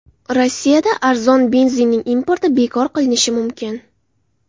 Rossiyada arzon benzinning importi bekor qilinishi mumkin.